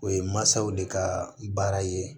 O ye mansaw de ka baara ye